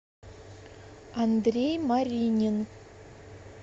андрей маринин